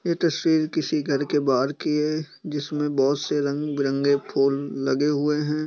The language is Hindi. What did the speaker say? ये तस्वीर किसी घर के बाहर की है जिसमे बहोत से रंग-बिरंगे फूल लगे हुए है।